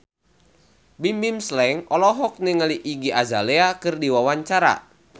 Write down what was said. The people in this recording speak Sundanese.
Bimbim Slank olohok ningali Iggy Azalea keur diwawancara